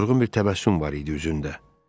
Yorğun bir təbəssüm var idi üzündə.